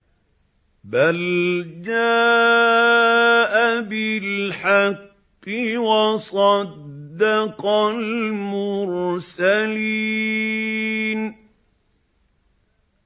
بَلْ جَاءَ بِالْحَقِّ وَصَدَّقَ الْمُرْسَلِينَ